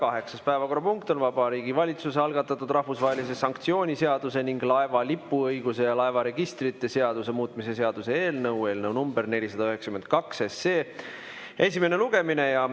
Kaheksas päevakorrapunkt on Vabariigi Valitsuse algatatud rahvusvahelise sanktsiooni seaduse ning laeva lipuõiguse ja laevaregistrite seaduse muutmise seaduse eelnõu 492 esimene lugemine.